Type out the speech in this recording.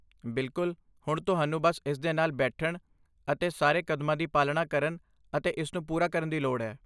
ਬਿਲਕੁਲ! ਹੁਣ ਤੁਹਾਨੂੰ ਬੱਸ ਇਸਦੇ ਨਾਲ ਬੈਠਣ ਅਤੇ ਸਾਰੇ ਕਦਮਾਂ ਦੀ ਪਾਲਣਾ ਕਰਨ ਅਤੇ ਇਸਨੂੰ ਪੂਰਾ ਕਰਨ ਦੀ ਲੋੜ ਹੈ।